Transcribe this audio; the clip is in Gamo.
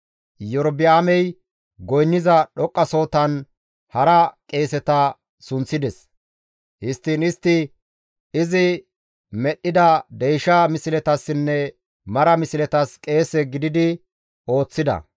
Iyorba7aamey goynniza dhoqqasohotan hara qeeseta sunththides; histtiin istti izi medhdhida deysha misletassinne mara misletas qeese gididi ooththida.